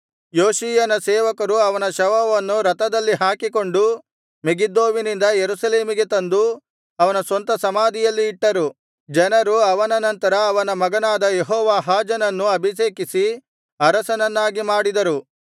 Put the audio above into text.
ಯೋಷೀಯನ ಸೇವಕರು ಅವನ ಶವವನ್ನು ರಥದಲ್ಲಿ ಹಾಕಿಕೊಂಡು ಮೆಗಿದ್ದೋವಿನಿಂದ ಯೆರೂಸಲೇಮಿಗೆ ತಂದು ಅವನ ಸ್ವಂತ ಸಮಾಧಿಯಲ್ಲಿ ಇಟ್ಟರು ಜನರು ಅವನ ನಂತರ ಅವನ ಮಗನಾದ ಯೆಹೋವಾಹಾಜನನ್ನು ಅಭಿಷೇಕಿಸಿ ಅರಸನನ್ನಾಗಿ ಮಾಡಿದರು